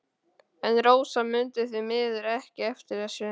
En Rósa mundi því miður ekki eftir þessu.